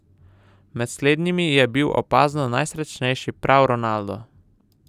Med slednjimi je bil opazno najsrečnejši prav Ronaldo.